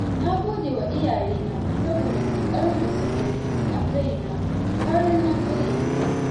Na gode wa iyayena saboda ƙoƙarin da suka yi a kaina har na kai yanzu.